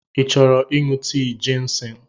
Ị chọrọ ịṅụ tii jịnsịng?